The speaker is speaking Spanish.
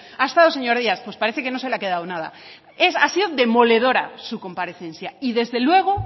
ha estado señor díaz pues parece que no se le ha quedado nada ha sido demoledora su comparecencia y desde luego